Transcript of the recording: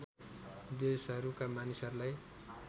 देशहरूका मानिसहरूलाई